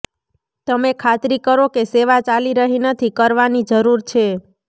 તમે ખાતરી કરો કે સેવા ચાલી રહી નથી કરવાની જરૂર છે